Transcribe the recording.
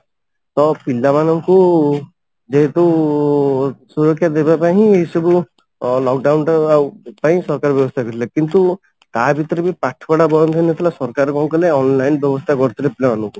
ତ ପିଲାମାନଙ୍କୁ ଯେହେତୁ ସୁରକ୍ଷା ଦେବା ପାଇଁ ହିଁ ଏସବୁ lock down ଟା ଆଉ ପାଇଁ ସରକାର ବ୍ୟବସ୍ଥା କରିଥିଲେ କିନ୍ତୁ ତା ଭିତରେ ବି ପାଠ ପଢା ବନ୍ଦ ହଉନଥିଲା ସରକାର କଣ କଲେ online ବ୍ୟବସ୍ଥା କରିଥିଲେ ପିଲାମାନଙ୍କୁ